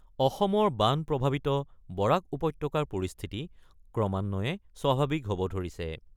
অসমৰ বান প্ৰভাৱিত বৰাক উপত্যকাৰ পৰিস্থিতি ক্ৰমান্বয়ে স্বাভাৱিক হ'ব ধৰিছে।